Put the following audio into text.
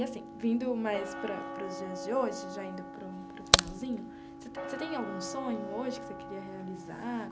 E assim, vindo mais para para os dias de hoje, já indo para o para o finalzinho, você tem você tem algum sonho hoje que você queria realizar?